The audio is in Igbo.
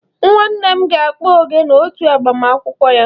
Nwannem ga-akpọ ogene otu agbamakwụkwọ ya.